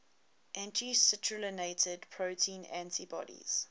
anti citrullinated protein antibodies